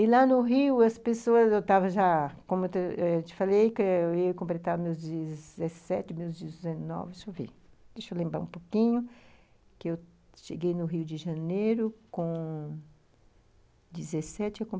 E, lá no Rio, as pessoas, eu estava já, como eu te falei, que eu ia completar meus dezessete, meus dezenove, deixa eu ver, deixa eu lembrar um pouquinho, que eu cheguei no Rio de Janeiro com dezessete